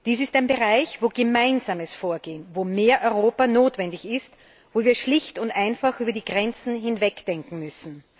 Dies ist ein Bereich, wo ein gemeinsames Vorgehen, wo mehr Europa notwendig ist, wo wir schlicht und einfach über die Grenzen hinwegdenken müssen.